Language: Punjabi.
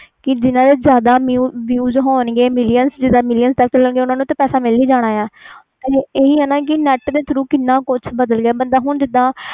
ਜਿਨ੍ਹਾਂ ਦੇ ਜਿਆਦਾ views ਜਾ million ਓਹਨਾ ਨੂੰ ਤੇ ਪੈਸਸ ਮਿਲ ਹੀ ਜਾਣਾ ਆ ਇਹੀ ਆ ਨਾ net ਤੇ tharo ਕਿੰਨਾ ਕੁਛ ਬਾਦਲ ਗਿਆ ਮਤਬਲ ਜਿੰਦਾ ਹੁਣ